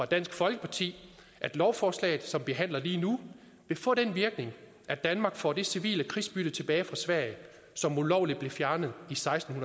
dansk folkeparti at lovforslaget som vi behandler lige nu vil få den virkning at danmark får det civile krigsbytte tilbage fra sverige som ulovligt blev fjernet i seksten